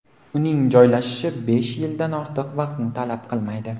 Uning joylashishi besh yildan ortiq vaqtni talab qilmaydi.